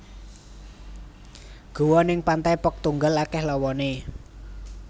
Goa ning Pantai Pok Tunggal akeh lowone